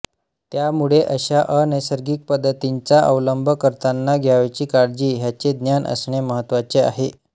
त्यामुळे अश्या अनैसर्गिक पद्धतींचा अवलंब करताना घ्यावयाची काळजी ह्याचे ज्ञान असणे महत्त्वाचे आहे